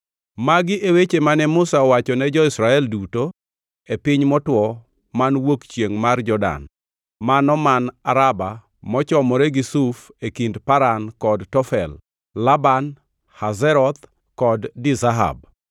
Magi e weche mane Musa owacho ne jo-Israel duto e piny motwo man wuok chiengʼ mar Jordan, mano man Araba mochomore gi Suf e kind Paran kod Tofel; Laban, Hazeroth kod Dizahab.